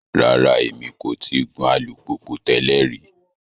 Rara, Emi ko ti gun alupupu tẹlẹ ri